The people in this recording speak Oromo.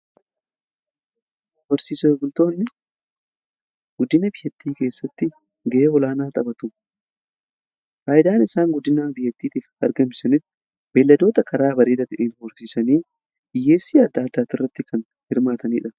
Horsiisee bultoonni guddina biyyattii keessatti gahee olaanaa taphatu. Faayidaan isaan guddina biyattiitiif argamsani beelladoota karaa bareeda ta'een horsiisanii hiyyeessii adda addaa kan irratti kan hirmaatanidha.